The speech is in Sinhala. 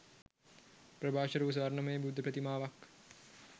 ප්‍රභාෂ්වර වූ ස්වර්ණමය බුද්ධ ප්‍රතිමාවක්